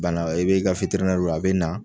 Bana i bi ka a bina